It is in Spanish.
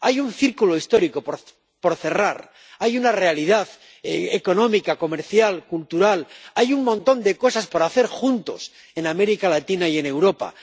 Hay un ciclo histórico por cerrar, hay una realidad económica, comercial, cultural, hay un montón de cosas por hacer juntos en América Latina y en Europa.